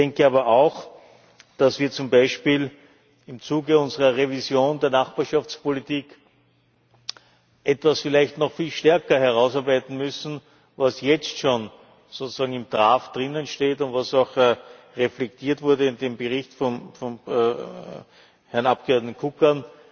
Ich denke aber auch, dass wir zum Beispiel im Zuge unserer Revision der Nachbarschaftspolitik etwas vielleicht noch viel stärker herausarbeiten müssen, was jetzt schon im Entwurf steht und was auch reflektiert wurde in dem Bericht des Herrn Abgeordneten Kukan.